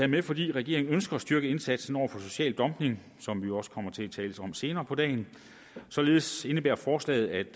med fordi regeringen ønsker at styrke indsatsen over for social dumping som vi jo også kommer til at tale om senere på dagen således indebærer forslaget